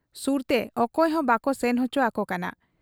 ᱥᱩᱨᱛᱮ ᱚᱠᱚᱭᱦᱚᱸ ᱵᱟᱠᱚ ᱥᱮᱱ ᱚᱪᱚ ᱟᱠᱚ ᱠᱟᱱᱟ ᱾